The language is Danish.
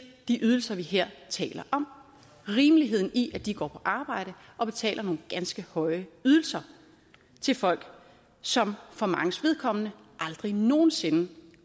de ydelser vi her taler om rimeligheden i at de går på arbejde og betaler nogle ganske høje ydelser til folk som for manges vedkommende aldrig nogen sinde